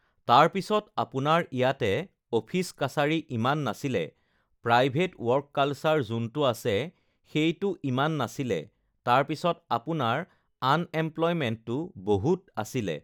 তাৰপিছত আপোনাৰ ইয়াতে অফিচ-কাছাৰী ইমান নাছিলে, প্ৰাইভেট ৱৰ্ক কালচাৰ যোনটো আছে সেইটো ইমান নাছিলে, তাৰপিছত আপোনাৰ আনএম্প্লয়মেণ্টো বহুত আছিলে,